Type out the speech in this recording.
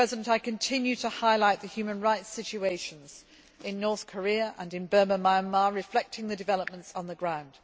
I continue to highlight the human rights situations in North Korea and in Burma Myanmar, reflecting the developments on the ground.